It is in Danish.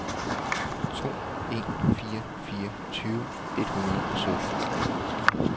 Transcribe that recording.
to en fire fire tyve et hundrede og sytten